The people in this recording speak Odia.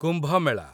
କୁମ୍ଭ ମେଳା